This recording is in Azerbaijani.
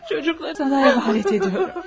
Çocuklarımı sənə əmanət ediyorum.